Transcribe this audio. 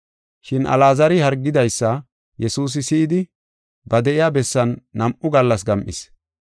Shin Alaazari hargidaysa Yesuusi si7idi ba de7iya bessan nam7u gallas gam7is.